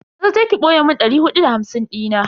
Maza je ki boye mun dari hudu da hamsin dina.